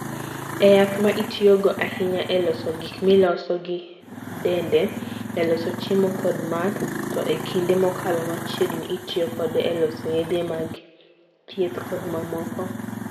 En yath ma itiyogo ahinya e loso gik miloso gi ndede, e loso chiemo kod math, to e kinde mokalo machiegni, itiyo kode e loso yedhe mag thieth kod mamoko.